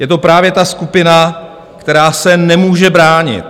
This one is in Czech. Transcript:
Je to právě ta skupina, která se nemůže bránit.